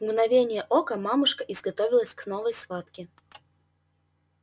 в мгновение ока мамушка изготовилась к новой схватке